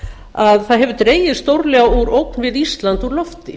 að það hefur dregið stórlega úr ógn við ísland úr lofti